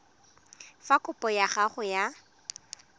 fa kopo ya gago ya